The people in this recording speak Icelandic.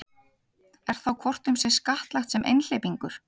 Er þá hvort um sig skattlagt sem einhleypingur.